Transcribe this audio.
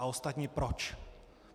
A ostatně proč?